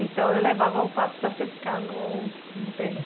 Então, eu levava o pato para ciscar no no terreno.